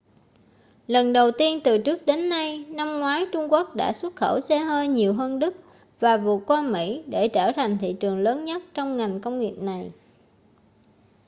lần đầu tiên từ trước đến nay năm ngoái trung quốc đã xuất khẩu xe hơi nhiều hơn đức và vượt qua mỹ để trở thành thị trường lớn nhất cho ngành công nghiệp này